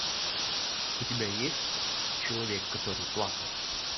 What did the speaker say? у тебя есть человек который плакал